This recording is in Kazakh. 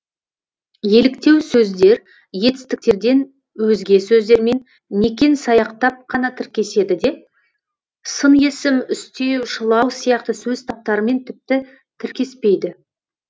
еліктеу сөздер етістіктерден өзге сөздермен некен саяқтап қана тіркеседі де сын есім үстеу шылау сияқты сөз таптарымен тіпті тіркеспейді